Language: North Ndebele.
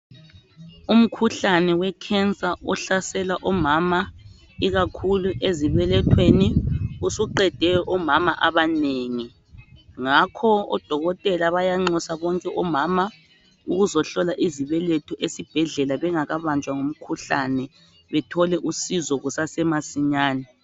Umkhuhlane wecancer ohlasela omama ikakhulu ezibelethweni usuqede omama abanengi, ngakho odokotela bayanxusa bonke omama ukuzohlola izibeletho esibhedlela bengakabanjwa ngumkhuhlane. Bethole usizo kusasemasinyani.